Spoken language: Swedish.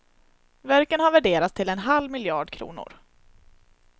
Verken har värderats till en halv miljard kronor.